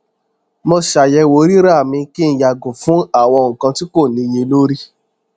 mo ṣàyẹwò rírà mi kí n yàgò fún àwọn nkan tí kò níyelori